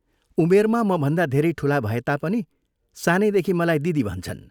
उमेरमा मभन्दा धेरै ठूला भए तापनि सानैदेखि मलाई दिदी भन्छन्।